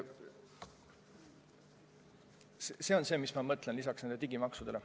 See võiks olla lisaks digimaksudele.